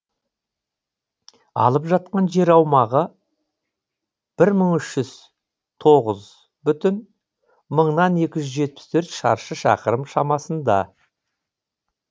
алып жатқан жер аумағы бір мың үш жүз тоғыз бүтін мыңнан екі жүз жетпіс төрт шаршы шақырым шамасында